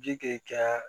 Ji kɛ